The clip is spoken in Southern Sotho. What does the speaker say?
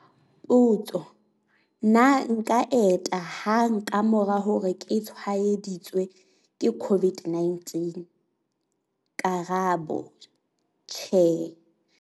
Potso- Na nka enta hang ka mora hore ke tshwaeditswe ke COVID-19? Karabo- Tjhe.